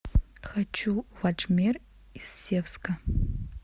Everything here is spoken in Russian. хочу в аджмер из севска